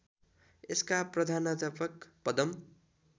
यसका प्रधानाध्यापक पदम